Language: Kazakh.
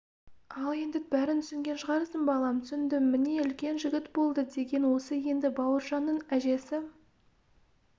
ал енді бәрін түсінген шығарсың балам түсіндім міне үлкен жігіт болды деген осы енді бауыржанның әжесі